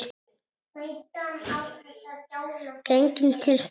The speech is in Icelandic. Genginn til kirkju.